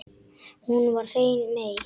Hún er hrein mey.